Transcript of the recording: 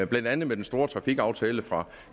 blandt andet den store trafikaftale fra